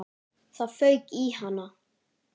Það fauk í hana.